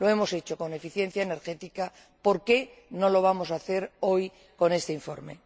Lo hemos hecho con la eficiencia energética, ¿por qué no lo vamos a hacer hoy con este informe?